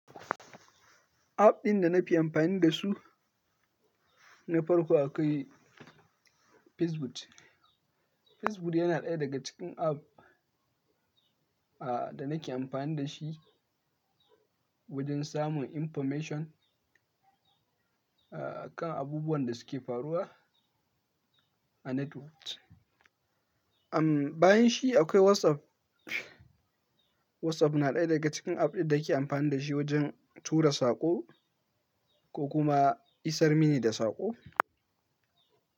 App ɗin da na fi amfani da su na farko akwai Facebook. Facebook yana ɗaya daga cikin app a, da nake amfani da shi wajen samun information a, kan abubuwan da suke faruwa a network. Amm, bayan shi akwai WhatsApp. WhatsApp na ɗaya daga cikin app ɗin da ke amfani da shi wajen tura saƙo ko kuma isar mini da saƙo.